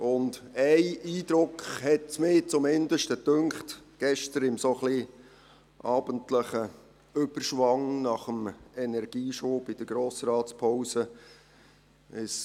Einen Eindruck erhielt ich zumindest gestern in dem ein wenig abendlichen Überschwang nach dem Energieschub in der Pause des Grossen Rates.